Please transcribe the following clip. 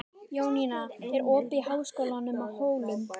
Jónína, er opið í Háskólanum á Hólum?